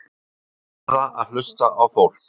Verða að hlusta á fólkið